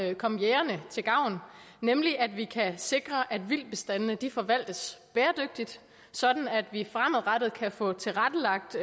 vil komme jægerne til gavn nemlig at vi kan sikre at vildtbestandene forvaltes bæredygtigt sådan at vi fremadrettet kan få tilrettelagt